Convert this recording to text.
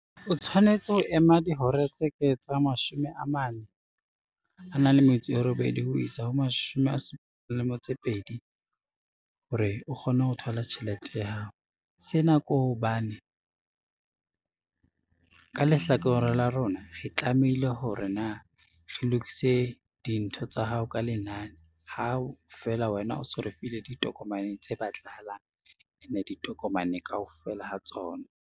O tshwanetse ho ema dihora tse ka etsang mashome a mane, a nang le metso e robedi ho isa ho mashome a hore o kgone ho thola tjhelete ya hao. Sena ke hobane ka lehlakoreng la rona re tlamehile hore na re lokise dintho tsa hao ka lenane hao feela wena o so re file ditokomane tse batlahalang ene ditokomane kaofela ha tsona.